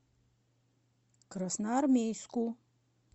красноармейску